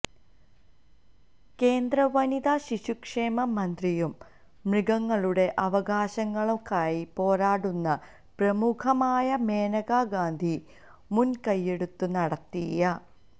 കേന്ദ്ര വനിതാ ശിശുക്ഷേമ മന്ത്രിയും മൃഗങ്ങളുടെ അവകാശങ്ങള്ക്കായി പോരാടുന്ന പ്രമുഖയുമായ മേനകാ ഗാന്ധി മുന്കയ്യെടുത്തു നടത്തിയ